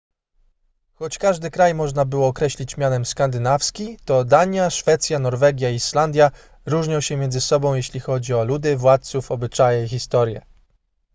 choć każdy kraj można było określić mianem skandynawski to dania szwecja norwegia i islandia różnią się między sobą jeśli chodzi o ludy władców obyczaje i historię